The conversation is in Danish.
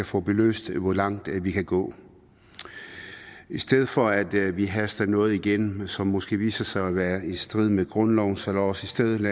få belyst hvor langt vi kan gå i stedet for at vi haster noget igennem som måske viser sig at være i strid med grundloven så lad os i stedet